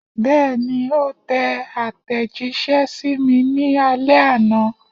Bẹ́ẹ̀ni, ó tẹ àtẹ̀jíṣẹ́ sí mi ní alẹ́ àná.